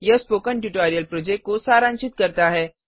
यह spoken tutorial project को सारांशित करता है